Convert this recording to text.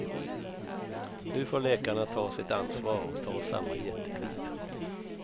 Nu får läkarna ta sitt ansvar och ta samma jättekliv.